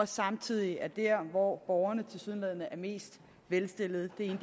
samtidig er der hvor borgerne tilsyneladende er mest velstillede det